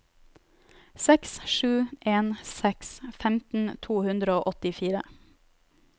seks sju en seks femten to hundre og åttifire